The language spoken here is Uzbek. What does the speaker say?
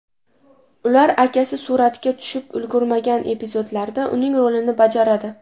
Ular akasi suratga tushib ulgurmagan epizodlarda uning rolini bajaradi.